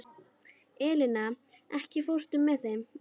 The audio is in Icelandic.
Eleina, ekki fórstu með þeim?